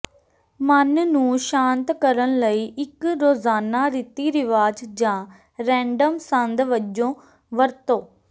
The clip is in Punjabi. ਮਨ ਨੂੰ ਸ਼ਾਂਤ ਕਰਨ ਲਈ ਇੱਕ ਰੋਜ਼ਾਨਾ ਰੀਤੀ ਰਿਵਾਜ ਜਾਂ ਰੈਂਡਮ ਸੰਦ ਵਜੋਂ ਵਰਤੋ